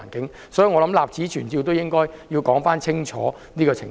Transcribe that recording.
因此，我想立此存照說清楚這個情況。